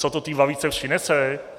Co to té babičce přinese?